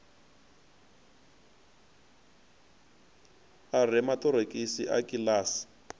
a re maṱorokisi a kiḽasi